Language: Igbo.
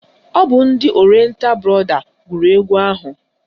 Ọ bụ ndị Orienta brọda gụrụ egwu ahụ?